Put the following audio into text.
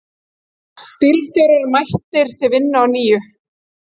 Bílstjórar mættir til vinnu á ný